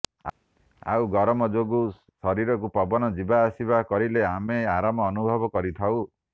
ଆଉ ଗରମ ଯୋଗୁ ଶରୀରକୁ ପବନ ଯିବା ଆସିବା କରିଲେ ଆମେ ଆରାମ ଅନୁଭବ କରିଥାଉ